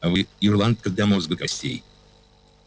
вы ирландка до мозга костей